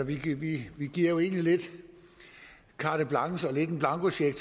vi vi giver jo egentlig lidt carte blanche og en blankocheck